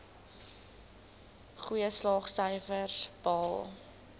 goeie slaagsyfers behaal